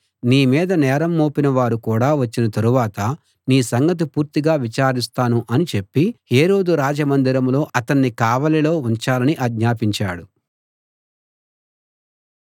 నీ మీద నేరం మోపిన వారు కూడా వచ్చిన తరువాత నీ సంగతి పూర్తిగా విచారిస్తాను అని చెప్పి హేరోదు రాజమందిరంలో అతణ్ణి కావలిలో ఉంచాలని ఆజ్ఞాపించాడు